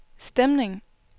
stemning